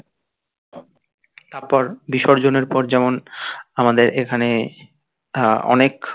তার পর বিসর্জনের পর যেমন আমাদের এখানে আহ অনেক